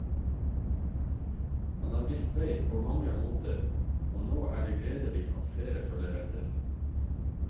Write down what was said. Han har vist vei på mange måter og nå er det gledelig at flere følger etter.